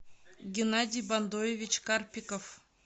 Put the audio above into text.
геннадий бандоевич карпиков